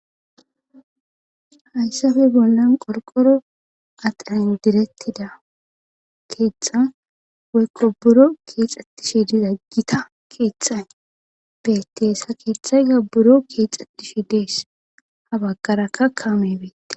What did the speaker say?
hayssafe bollan qorqoro adhayo direttida keexxan wekko buro keexxattishe dizaggita keexxay betees ha keetthay gabburo keexxattishe dees ha baggarakka kaame beette